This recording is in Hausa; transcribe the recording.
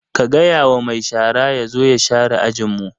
Ka gaya wa mai shara ya zo ya share ajin mu!